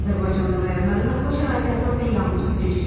Azərbaycanın rayonlarında hava şəraiti əsasən yağmursuz keçəcək.